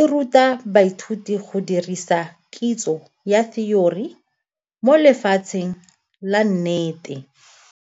e ruta baithuti go dirisa kitso ya theory mo lefatsheng la nnete.